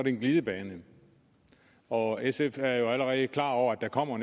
er en glidebane og sf er jo allerede klar over at der kommer